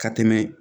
Ka tɛmɛ